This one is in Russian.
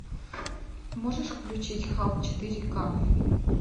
можешь включить халк четыре ка